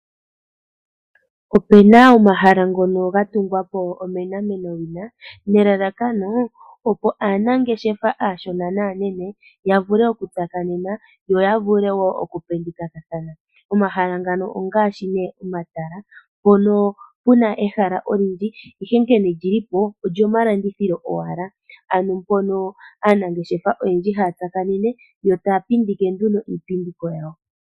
Opuna omahala ngono ga tungwapo onomenawina nelalakano opo aanangeshefa aanene naashona ya vule oku tsakanena yo ya vule wo yapindike. Omahala ngono ongaashi nee omatala mpono puna ehala enene lili po lyomalandithilo ano mpono aanangeshefa ha ya tsakanene etaya landitha iipindi yawo.